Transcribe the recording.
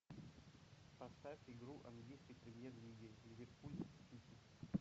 поставь игру английской премьер лиги ливерпуль сити